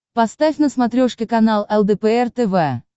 поставь на смотрешке канал лдпр тв